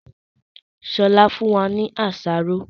Sọlá fún wa ní àsáró